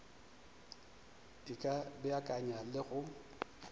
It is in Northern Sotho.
e ka beakanya le go